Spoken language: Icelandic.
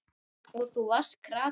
Og þú varst krati.